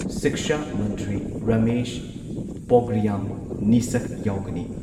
ꯁꯤꯛꯁꯥ ꯃꯟꯇ꯭ꯔꯤ ꯔꯥꯃꯦꯁ ꯄ꯭ꯔꯣꯒ꯭ꯔꯤꯌꯥꯝ ꯅꯤꯁꯥꯛ ꯌꯥꯎꯒꯅꯤ ꯫